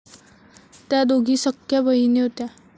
त्या दोघी सख्ख्या बहिणी होत्या.